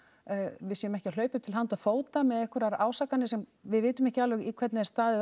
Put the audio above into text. við séum ekki að hlaupa upp til handa og fóta með einhverjar ásakanir sem við vitum ekki alveg hvernig er staðið